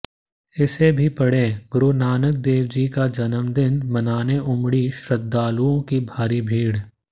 इसे भी पढ़ेः गुरु नानक देव जी का जन्मदिन मनाने उमड़ी श्रद्धालुओं की भारी भीड़